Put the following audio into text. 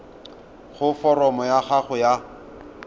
gore foromo ya gago ya